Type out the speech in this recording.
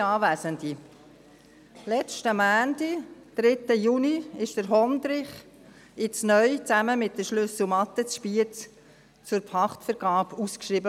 Vergangenen Montag, den 3. Juni, wurde der Hondrich, jetzt neu zusammen mit der Schlüsselmatte in Spiez, zur Pachtvergabe ausgeschrieben.